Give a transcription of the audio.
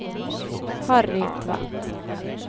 Harry Tvedt